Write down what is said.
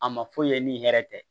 A ma foyi ye ni hɛrɛ tɛ